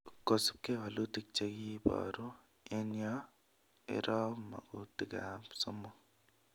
Kosubke walutik chekiboru eng yo, iroo magutik somok